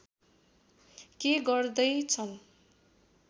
के गर्दै छन्